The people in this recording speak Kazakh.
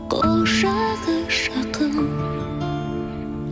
құшағы жақын